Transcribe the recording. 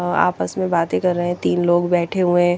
आपस में बाते कर रहे है तीन लोग बेठे हुए है ।